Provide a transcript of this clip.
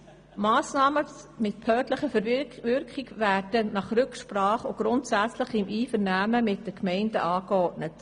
«Massnahmen mit behördenverbindlicher Wirkung werden nach Rücksprache und grundsätzlich im Einvernehmen mit den Gemeinden angeordnet.